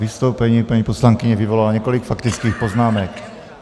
Vystoupení paní poslankyně vyvolalo několik faktických poznámek.